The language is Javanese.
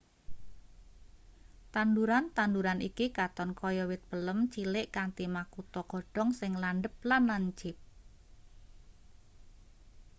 tanduran-tanduean iki katon kaya wit palem cilik kanthi makutha godhong sing landhep lan lancip